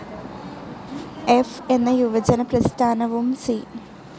ഫ്‌ എന്ന യുവജന പ്രസ്ഥാനവും സി.